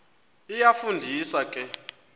iyafu ndisa ke